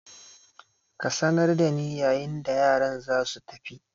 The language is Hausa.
Ka sanar da ni yayin da yaran za su tafi!